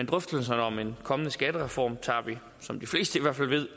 drøftelserne om en kommende skattereform tager vi som de fleste i hvert fald ved